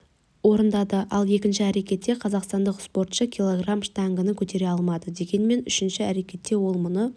орындады ал екінші әрекетте қазақстандық спортшы килограмм штангыны көтере алмады дегенмен үшінші әрекетте ол мұны